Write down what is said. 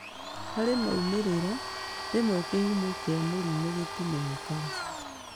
Harĩ maumĩrĩra, rĩmwe kĩhumo kĩa mũrimũ gĩtimenyekaga